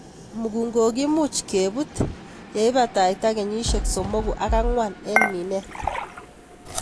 Mukunkok kimuch kebut ileibata kenyisiek somoku ak angwan en minet.